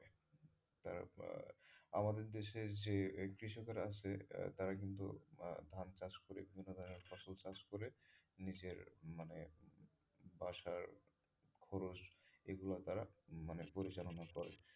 আমাদের দেশে যে কৃষকেরা আছে তারা কিন্তু ধান চাষ করে বিভিন্ন ধরনের ফসল চাষ করে নিজের মানে বাসার খরচ এগুলা তারা মানে পরিচালনা করে।